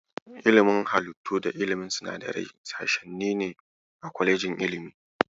Ilimin halittu da ilimin sinadarai sashenni ne a kwalejin ilimi.